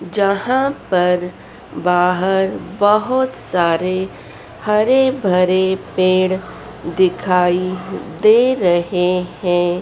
जहां पर बाहर बहोत सारे हरे भरे पेड़ दिखाई दे रहे हैं।